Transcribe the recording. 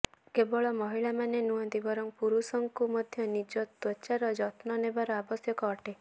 କେବଳ ମହିଳାମାନେ ନୁହଁନ୍ତି ବରଂ ପୁରୁଷଙ୍କୁ ମଧ୍ୟ ନିଜ ତ୍ୱଚାର ଯତ୍ନ ନେବା ଆବଶ୍ୟକ ଅଟେ